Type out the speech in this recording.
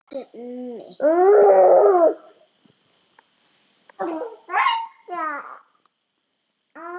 Ekki mitt.